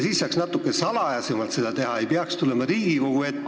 Siis saaks natuke salajasemalt seda teha, ei peaks tulema Riigikogu ette ja ...